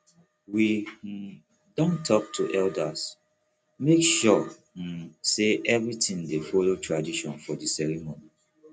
we um don talk to elders make sure um say everything dey follow tradition for di ceremony